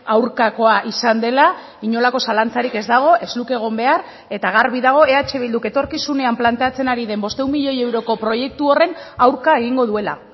aurkakoa izan dela inolako zalantzarik ez dago ez luke egon behar eta garbi dago eh bilduk etorkizunean planteatzen ari den bostehun milioi euroko proiektu horren aurka egingo duela